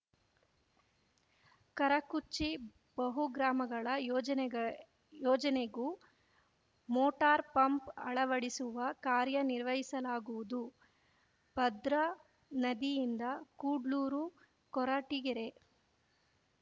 ಕರಕುಚ್ಚಿ ಬಹುಗ್ರಾಮಗಳ ಯೋಜನೆಗೆ ಯೋಜನೆಗೂ ಮೋಟಾರ್‌ ಪಂಪ್‌ ಅಳವಡಿಸುವ ಕಾರ್ಯನಿರ್ವಹಿಸಲಾಗುವುದು ಭದ್ರಾ ನದಿಯಿಂದ ಕುಡ್ಲೂರು ಕೊರಟೀಗೆರೆ